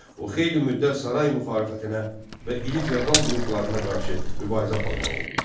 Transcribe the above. O xeyli müddət saray müxalifətinə və iri feodal qruplarına qarşı mübarizə aparmalı oldu.